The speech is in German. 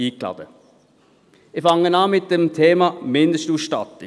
Ich beginne mit dem Thema Mindestausstattung.